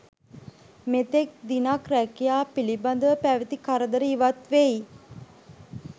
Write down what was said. මෙතෙක් දිනක් රැකියා පිළිබඳව පැවති කරදර ඉවත් වෙයි.